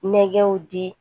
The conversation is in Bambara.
Nɛgɛw di